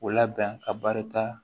O labɛn ka barita